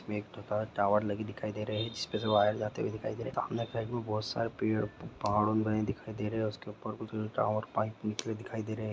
एक टॉवर लगी दिखाई दे रहे हैजिसपे से वायर जाते हुए दिखाई दे रहे है सैम सामने बहुत सारी पड़े पौध दिखाई दे रहे है उसके उपर कुछ टॉवर पाईप दिखाई दे रहे है।